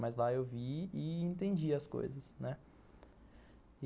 Mas lá eu vi e entendi as coisas, né. E